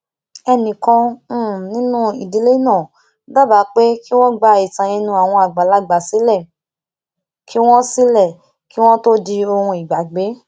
ẹnìkan um nínú ìdílé náà dábàá pé kí wón gba ìtàn ẹnu àwọn àgbàlagbà sílè kí wón sílè kí wón tó di ohun ìgbàgbé